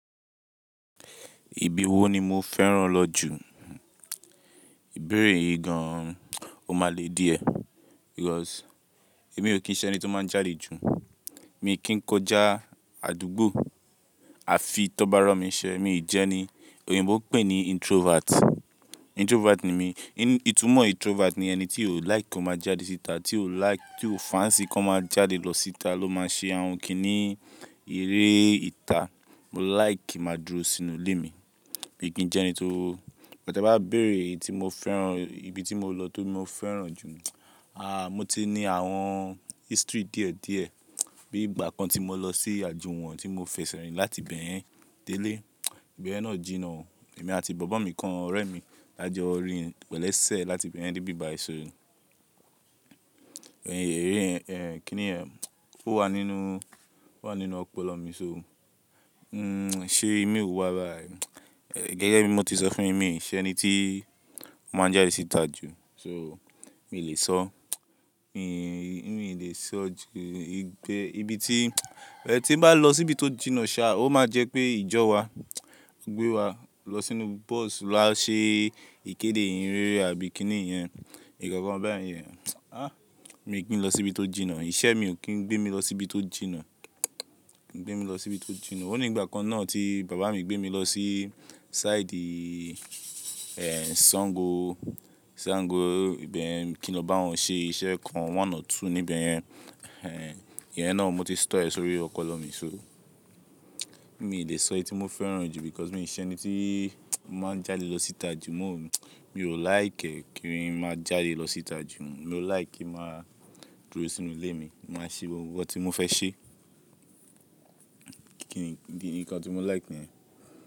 Ibi wo ni mo fẹ́ràn lọ jù? Ìbéèrè yìí gan ò máa le díẹ̀ because èmi ò kí ń ṣẹ ni tó máa ń jáde jù. Mi kí ń kọjá àdúgbò àfi tó bá rọ̀ mí ṣẹ mi ò jẹ́ ni. Oyìnbó pè é ní introvert. Introvert ni mí. Itumọ introvert ni ẹni tí ó like kó máa jáde síta, tí ó like-- tí ó fancy kó má jáde lọ síta ló máa ṣe àwọn kínní èrè ìta. Mo like máa dúró sínú ilé mi. Mi kì ń jẹ́ ẹni tó-- bí ẹ bá bèèrè ibi tí mo lọ tó mi mó fẹ́ràn jù, aà mọ ti ní àwọn history díẹ̀ díẹ̀. Bí ìgbà kan tí mo lọ sí àjùwọ̀ ọ̀n ti mo fẹsẹ̀ rìn láti ibẹ̀ yẹn délé. Ìbẹ̀ yẹn náà jìnà o. Èmi àti bọ̀bọ́ mi kan ọ̀rẹ́ mi lájọ rín pẹ̀lú ẹsẹ̀ láti ibẹ̀ yẹn débi ibàyì so. Ẹ̀rín kí ni ẹ́, ónwà nínúu? Ó wà nínú ọpọlọ mi so. Nṣé mi ò wà bá ẹ́. Gẹ́gẹ́ bí mo ti sọ fún yín, èmi kì í ṣẹ ẹni tí ó máa ń jáde síta jù so mi ò le sọ. Mi ò lè sọ ìgbẹ́ ibi tí-- ẹ tí bá lọ síbi tó jìnà ṣá, ó máa jẹ́ pé ìjọ wa gbé wa lọ sínú bus láti ṣe ìkéde ìhìnrere àbí kí ni ìyẹn. Ìkọ̀kan báyẹn yẹn. Àh mi ò kí ń lọ síbi tó jìnà. Iṣẹ́ mi ò kí ń gbé mi lọ síbi tó jìnà. Gbé mi lọ síbi tó jìnà. Ó ní ìgbà kan náà tí bàbá mi gbé mi lọ sí sáìdì Sango, Sango ìbẹ̀ kí n lọ báwọn ṣe iṣẹ́ kan one or two níbẹ̀ yẹn. Ìyẹn náà mo ti store ẹ́ sórí ọpọlọ mi so. Mi ò lè sọ ibi tí mo fẹ́ràn jù because mi ò ṣẹ ẹni tí máa ń jáde lọ síta jù. Mo ò like kí n má jáde lọ síta jù. Mo like kí màá dúró sínú ilé mi. Màá ṣe ohun tí mo fẹ́ ṣe. Kíni nǹkan tí mo like nìyẹn.